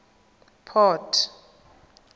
port